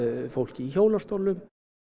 fólki í hjólastólum